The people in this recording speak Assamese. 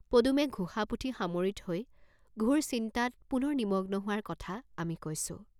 পদুমে ঘোষা পুথি সামৰি থৈ ঘোৰ চিন্তাত পুনৰ নিমগ্ন হোৱাৰ কথা আমি কৈছোঁ।